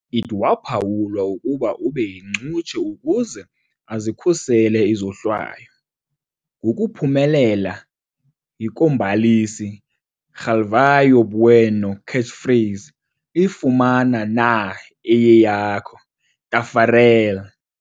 It waphawulwa ukuba ube yincutshe ukuze azikhusele izohlwayo, ngokuphumelela yi kombalisi Galvão Bueno catchphrase, i "Fumana na eyeyakho, Taffarel!"